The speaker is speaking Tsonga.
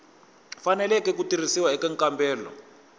faneleke ku tirhisiwa eka nkambelo